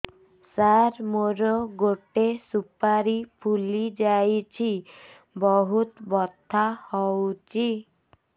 ସାର ମୋର ଗୋଟେ ସୁପାରୀ ଫୁଲିଯାଇଛି ବହୁତ ବଥା ହଉଛି